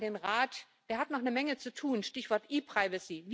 Und ich sage an den Rat Der hat noch eine Menge zu tun, Stichwort ePrivacy.